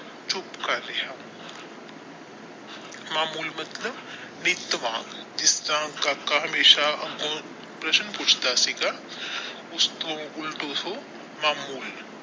ਚੁੱਪ ਕਰ ਰਿਹਾ ਮਾਮੂਲ ਮਤਲਬ ਬੇਦਿਮਾਗ ਜਿਸ ਨਾਲ ਕਾਕਾ ਹਮੇਸ਼ਾ ਪ੍ਰਸ਼ਨ ਪੁੱਛਦਾ ਸੀਗਾ ਉਸ ਤੋਂ ਉੱਲਟ ਉਹ ਮਾਮੂਲ।